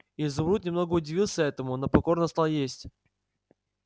изумруд немного удивился этому но покорно стал есть